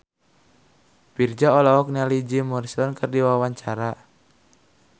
Virzha olohok ningali Jim Morrison keur diwawancara